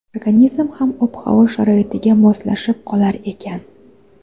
Organizm ham ob-havo sharoitiga moslashib qolar ekan.